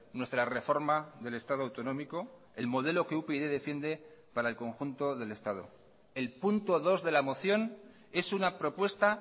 nuestra reforma del estado autonómico el modelo que upyd defiende para el conjunto del estado el punto dos de la moción es una propuesta